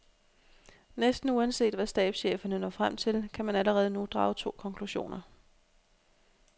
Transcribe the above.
Næsten uanset hvad stabscheferne når frem til, kan man allerede nu drage to konklusioner.